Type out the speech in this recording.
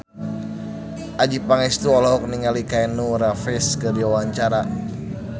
Adjie Pangestu olohok ningali Keanu Reeves keur diwawancara